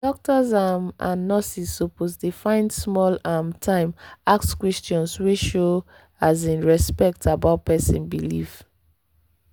doctors um and nurses suppose dey find small um time ask questions wey show um respect about person belief.